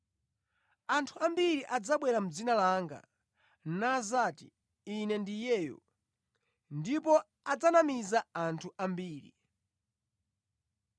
Anthu ambiri adzabwera mʼdzina langa, nadzati, ‘Ine ndi Iyeyo,’ ndipo adzanamiza anthu ambiri.